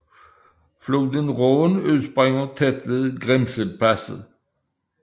Floden Rhône udspringer tæt ved Grimselpasset